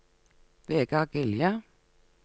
Vegard Gilje